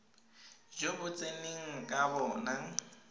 jo bo tseneng ka bona